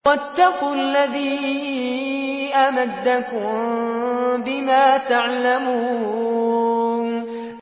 وَاتَّقُوا الَّذِي أَمَدَّكُم بِمَا تَعْلَمُونَ